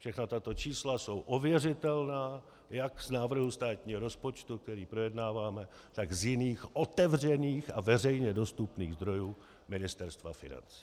Všechna tato čísla jsou ověřitelná jak z návrhu státního rozpočtu, který projednáváme, tak z jiných otevřených a veřejně dostupných zdrojů Ministerstva financí.